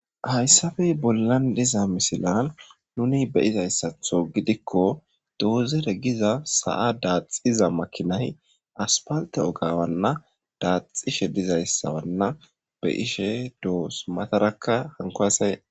Hayssafey bollan diza misilan nuni beyizayssatho gidikko doozere giza sa7a daaxiza makinay aspalte ogawanna daaxishe dizayssawanna be ishe doos matarakka hanko asaye.